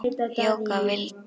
Jóka vildi.